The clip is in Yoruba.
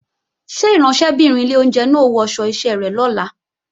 Ṣé ìránṣẹ́bìnrin ilé oúnjẹ náà ó wọṣọ iṣẹ́ rẹ̀ lọ́la?